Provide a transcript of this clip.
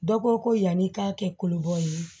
Dɔ ko ko yan'i k'a kɛ kolobɔlen ye